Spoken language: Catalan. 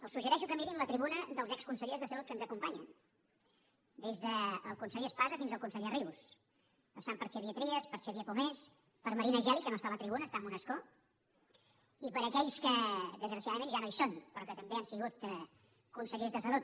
els suggereixo que mirin la tribuna dels exconsellers de salut que ens acompanyen des del conseller espasa fins al conseller rius passant per xavier trias per xavier pomés per marina geli que no està a la tribuna està en un escó i per aquells que desgraciadament ja no hi són però que també han sigut consellers de salut